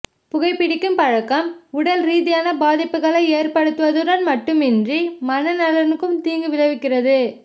புகை பிடிக்கும் பழக்கம் உடல் ரீதியான பாதிப்புகளை ஏற்படுத்துவதுடன் மட்டுமின்றி மன நலனுக்கும் தீங்கு விளைவிக்கிறது